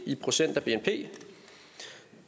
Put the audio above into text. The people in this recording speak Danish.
i procent af bnp